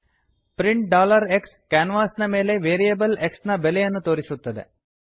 print x ಕ್ಯಾನ್ವಾಸಿನ ಮೇಲೆ variable x ನ ಬೆಲೆಯನ್ನು ತೋರಿಸುತ್ತದೆ